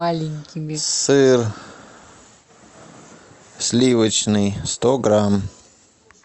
сыр сливочный сто грамм